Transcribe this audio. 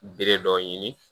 Bere dɔ ɲini